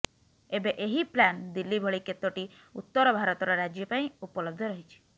ଏବେ ଏହି ପ୍ଳାନ ଦିଲ୍ଳୀ ଭଳି କେତୋଟି ଉତ୍ତର ଭାରତର ରାଜ୍ୟ ପାଇଁ ପଲବ୍ଧ ରହିଛି